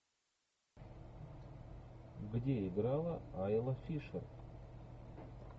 где играла айла фишер